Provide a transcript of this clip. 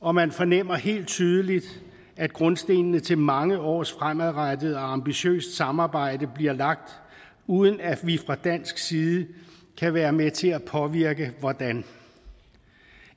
og man fornemmer helt tydeligt at grundstenen til mange års fremadrettet og ambitiøst samarbejde bliver lagt uden at vi fra dansk side kan være med til at påvirke hvordan